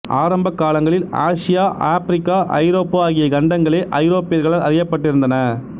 ஆரம்ப காலங்களில் Asia Africa Europe ஆகிய கண்டங்களே ஐரோப்பியர்களால் அறியப்பட்டிருந்தன